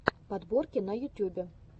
подборки на ютюбе